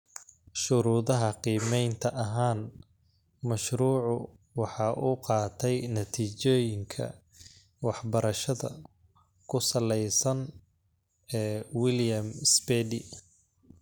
Shuruudaha qiimaynta ahaan, mashruucu waxa uu qaatay Natiijooyinka Waxbarashada ku salaysan ee William Spady.